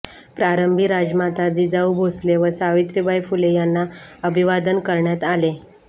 प्रारंभी राजमाता जिजाऊ भोसले व सावित्रीबाई फुले यांना अभिवादन करण्यात आले